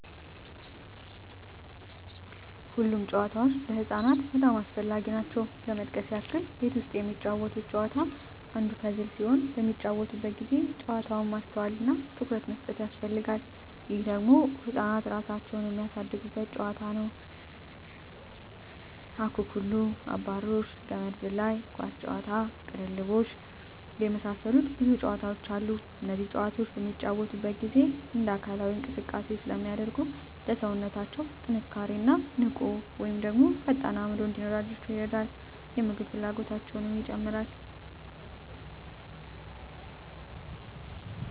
ሁሉም ጨዋታዎች ለህፃናት በጣም አስፈላጊ ናቸው ለመጥቀስ ያክል ቤት ውስጥ የሚጫወቱት ጨዋታ አንዱ ፐዝል ሲሆን በሚጫወቱበት ጊዜ ጨዋታው ማስተዋል እና ትኩረት ይፈልጋል ይህ ደግሞ ህፃናት እራሳቸውን የሚያሳድጉበት ጨዋታ ነው ውጭ ላይ ከሚጫወቱት ጨዋታዎች ለመጥቀስ ያክል አኩኩሉ....፣አብራሪዎች፣ ገመድ ዝላይ፣ ኳስ ጨዋታ፣ ቅልብልቦሽ የመሳሰሉት ብዙ ጨዋታዎች አሉ እነዚህ ጨዋታዎች በሚጫወቱበት ጊዜ እንደ አካላዊ እንቅስቃሴ ስለሚያደርጉ ለሠውነታው ጥንካሬ እና ንቁ ወይም ፈጣን አዕምሮ እንዲኖራቸው ይረዳል የምግብ ፍላጎታቸው ይጨምራል